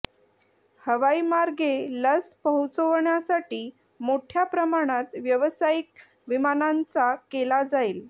हवाई मार्गे लस पोहोचवण्यासाठी मोठया प्रमाणात व्यावसायिक विमानांचा केला जाईल